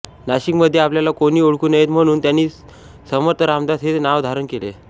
नाशिकमध्ये आपल्याला कोणी ओळखू नये म्हणून त्यांनी समर्थरामदास हे नाव धारण केले